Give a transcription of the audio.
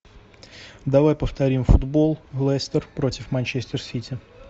давай повторим футбол лестер против манчестер сити